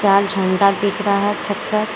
लाल झंडा दिख रहा है छत पर।